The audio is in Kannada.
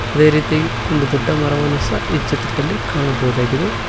ಅದೇ ರೀತಿಯಾಗಿ ಒಂದು ದೊಡ್ಡ ಮರವನ್ನು ಸಹ ಈ ಚಿತ್ರದಲ್ಲಿ ಕಾಣಬೋದಾಗಿದೆ.